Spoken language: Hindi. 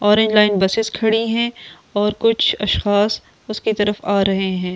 ऑरेंज लाइन बसेस खड़ी है और कुछ खास उसके तरफ आ रहे हैं।